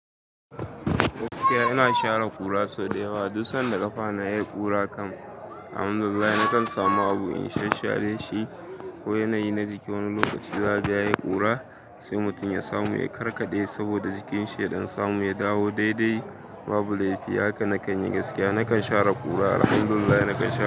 Gaskiya ina share ƙura sau da yawa. Du san da kwana yayi ƙura kam. Alhamdulillah nakan samu abu in shan share shi ko yanayi na jiki. Wani lokaci zahaga yayi ƙura sai mutum ya samu ya karkaɗe saboda jikin shi ya ɗan samu ya dawo daidai babu laifiya. Haka nakan yi gaskiya. Nakan share ƙura. Alhamdulillah nakan share ƙura.